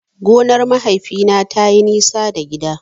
Gonar mahaifina tayi nisa da gida.